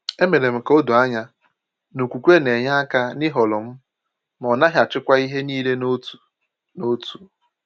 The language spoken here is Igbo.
E mere m ka o doo anya na okwukwe na-enye aka n’ịhọrọ m, ma ọ naghị achịkwa ihe niile n’otu n’otu.